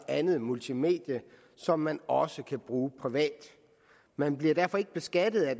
andet multimedie som man også kan bruge privat man bliver derfor beskattet af